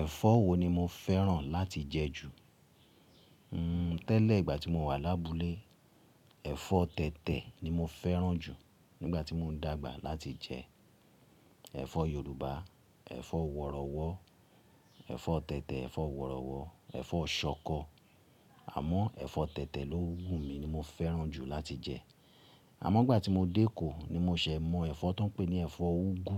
Ẹ̀fọ́ wo ni mo fẹ́ràn láti jẹ jù? Hmm tẹ́lẹ̀ ìgbà tí mo wà lábúlé, ẹ̀fọ́ tẹ̀tẹ̀ ni mo fẹ́ràn jù nígbà tí mo n dagba láti jẹ. Ẹ̀fọ́ Yorùbá, ẹ̀fọ́ wọ̀rọ̀wọ́, ẹ̀fọ́ tẹ̀tẹ̀, ẹ̀fọ́ wọ̀rọ̀wọ́, ẹ̀fọ́ ṣọkọ. Àmọ́ ẹ̀fọ́ tẹ̀tẹ̀ ló wùmí ni mo fẹ́ràn jù láti jẹ. Àmọ́ ìgbà tí mo dé ẹkọ ni mo ṣẹ̀ mọ̀ ẹ̀fọ́ tó n pè ní ẹ̀fọ́ úgú.